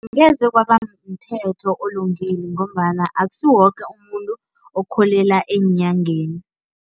Angeze kwaba mthetho olungile ngombana akusiwo woke umuntu okholelwa enyangeni.